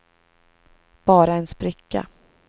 bara en spricka